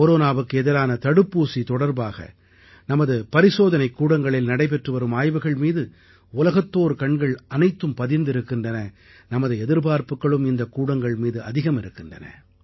கொரோனாவுக்கு எதிரான தடுப்பூசி தொடர்பாக நமது பரிசோதனைக்கூடங்களில் நடைபெற்றுவரும் ஆய்வுகள் மீது உலகத்தோர் கண்கள் அனைத்தும் பதிந்திருக்கின்றன நமது எதிர்பார்ப்புக்களும் இந்தக் கூடங்கள் மீது அதிகம் இருக்கின்றன